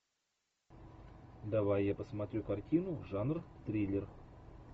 давай я посмотрю картину жанр триллер